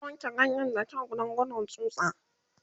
zata wanke ganyen da kyau Dan gudun tsutsa